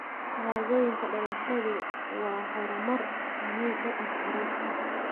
Shahaadooyinka dhalashadu waa horumar muhiim u ah carruurta.